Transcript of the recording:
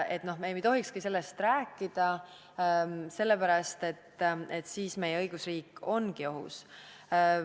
Me nagu ei tohikski sellest rääkida, sellepärast et siis ongi meie õigusriik ohus.